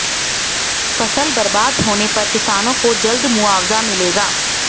फसल बर्बाद होने पर किसानों को जल्द मुआवजा मिलेगा